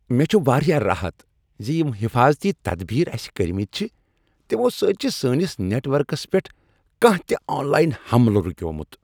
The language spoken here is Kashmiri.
مےٚ چھُ واریاہ راحت ز یم حفاظتی تدبیر اسِہ کرۍمتۍ چھ تمو سۭتۍ چھ سٲنس نیٹ ؤرکس پیٹھ کانہہ تِہ آن لاین حملہٕ رکیومُت۔